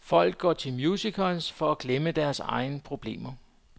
Folk går til musicals for at glemme deres egne problemer.